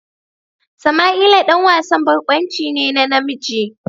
Sama'ila ɗan wasan barkwanci ne na namiji.